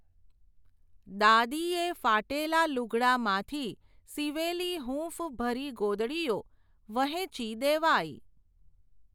દાદીએ, ફાટેલાં લૂગડાંમાંથી, સીવેલી હૂંફભરી ગોદડીયો, વહેંચી દેવાઈ.